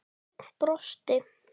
Örn brosti.